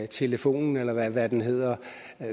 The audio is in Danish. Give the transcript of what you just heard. telefonen eller hvad den hedder